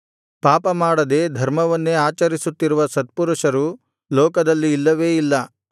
ಪಾಪಮಾಡದೇ ಧರ್ಮವನ್ನೇ ಆಚರಿಸುತ್ತಿರುವ ಸತ್ಪುರುಷರು ಲೋಕದಲ್ಲಿ ಇಲ್ಲವೇ ಇಲ್ಲ